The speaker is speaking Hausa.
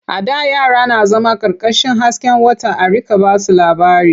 A da yara na zama ƙarƙashin hasken wata a riƙa ba su labari.